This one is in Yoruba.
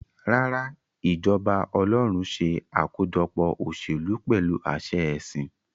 Rárá, ìjọba ọlọ́run ṣe àkójọpọ̀ òṣèlú pẹ̀lú àṣẹ ẹ̀sìn.